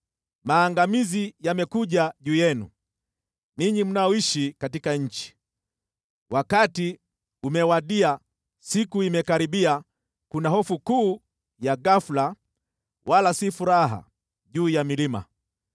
Maangamizi yamekuja juu yenu, ninyi mnaoishi katika nchi. Wakati umewadia, siku imekaribia, kuna hofu kuu ya ghafula, wala si furaha, juu ya milima.